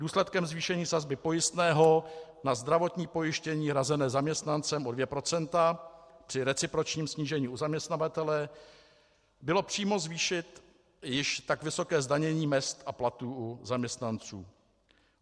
Důsledkem zvýšení sazby pojistného na zdravotní pojištění hrazené zaměstnancem o 2 % při recipročním snížení u zaměstnavatele bylo přímo zvýšit již tak vysoké zdanění mezd a platů u zaměstnanců.